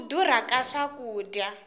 ku durha ka swakudya